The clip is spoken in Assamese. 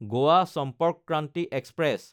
গোৱা চম্পৰ্ক ক্ৰান্তি এক্সপ্ৰেছ